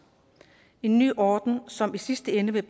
en ny orden som i sidste ende vil